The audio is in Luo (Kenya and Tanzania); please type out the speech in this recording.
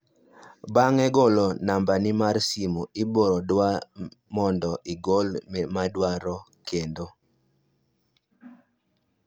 bang'e golo nambi mar simu ibo dwa mondo igol maidwaro keto